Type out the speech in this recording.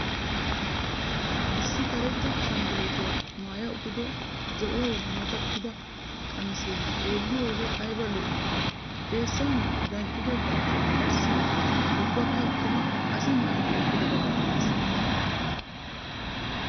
Issi karetta ashanguluutiya maya uttido zo'uwawu mattida qamisee xeelliyode aybba lo'ii? Xeessan danccisido danccisoy qassi ubakka tumu asi maayidi eqqidabaa malatisees.